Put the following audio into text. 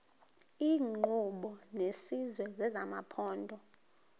iinkqubo zesizwe nezamaphondo